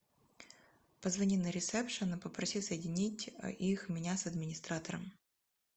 позвони на ресепшн и попроси соединить их меня с администратором